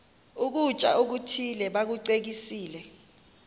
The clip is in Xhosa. ukutya okuthile bakucekise